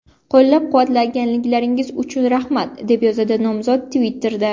Qo‘llab-quvvatlaganingiz uchun rahmat”, deb yozdi nomzod Twitter’da.